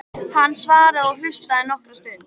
Hann svaraði og hlustaði nokkra stund.